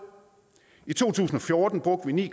i to tusind og fjorten brugte vi ni